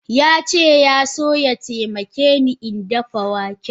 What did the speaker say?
Yace yaso ya taimakeni dafa waken.